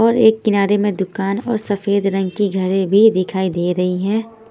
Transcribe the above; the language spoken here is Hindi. और एक किनारे में दुकान और सफेद रंग की घड़ी भी दिखाई दे रही है।